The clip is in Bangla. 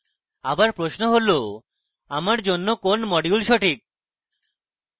আবার প্রশ্ন হলআমার জন্য কোন module সঠিক